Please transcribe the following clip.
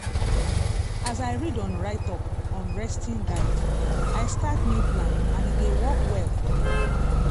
as i read on write up on resting guide i start new plan and e dey work well for me.